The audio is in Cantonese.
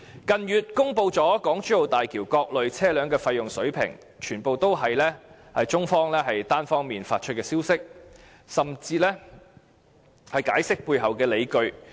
近月中國政府公布了港珠澳大橋各類車輛的收費水平，全部也是由中方單方面發出消息，甚至解釋背後的理據。